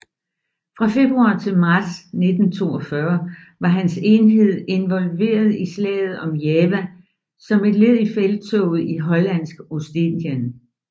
Fra februar til marts 1942 var hans enhed involveret i slaget om Java som led i Felttoget i Hollandsk Ostindien